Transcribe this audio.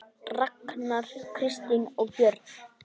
Ragnar, Kristín og börn.